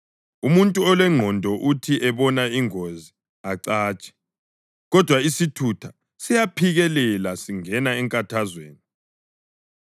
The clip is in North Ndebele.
Umuntu olengqondo uthi ebona ingozi acatshe, kodwa isithutha siyaphikelela singena enkathazweni.